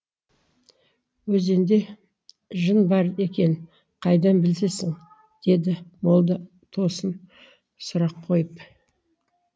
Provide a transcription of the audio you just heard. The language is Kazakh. өзенде жын бар екенін қайдан білесің деді молда тосын сұрақ қойып